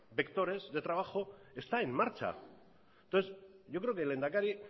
vectores de trabajo está en marcha entonces yo creo que el lehendakari